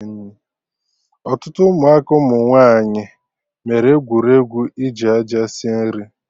Ọtụtụ Ụmụaka ụmụ nwaanyị mere egwuregwu iji aja sie nri